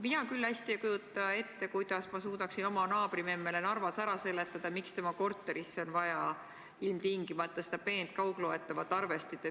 Mina küll hästi ei kujuta ette, kuidas ma suudaksin oma naabrimemmele Narvas ära seletada, miks tema korterisse on vaja ilmtingimata seda peent kaugloetavat arvestit.